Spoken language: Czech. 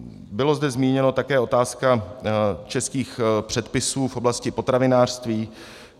Byla zde zmíněna také otázka českých předpisů v oblasti potravinářství.